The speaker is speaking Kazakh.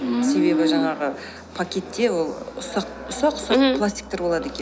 ммм себебі жаңағы пакетте ол ұсақ ұсақ пластиктер болады екен ммм